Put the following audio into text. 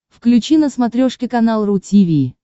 включи на смотрешке канал ру ти ви